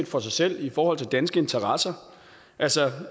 for sig selv i forhold til danske interesser altså